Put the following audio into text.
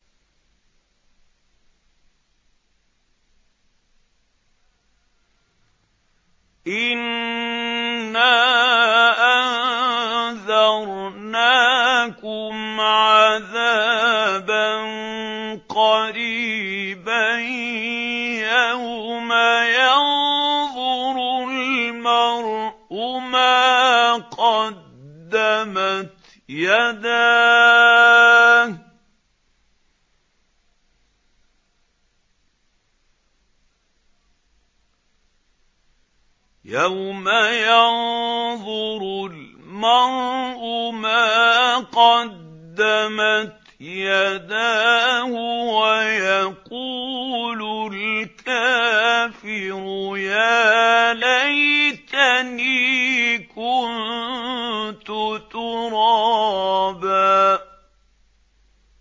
إِنَّا أَنذَرْنَاكُمْ عَذَابًا قَرِيبًا يَوْمَ يَنظُرُ الْمَرْءُ مَا قَدَّمَتْ يَدَاهُ وَيَقُولُ الْكَافِرُ يَا لَيْتَنِي كُنتُ تُرَابًا